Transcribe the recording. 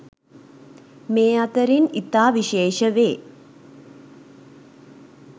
මේ අතරින් ඉතා විශේෂ වේ.